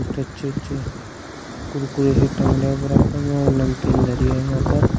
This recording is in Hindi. अच्छे अच्छे कुरकुरे है टांगने बरबर में और नमकीन धरी है यहां पर--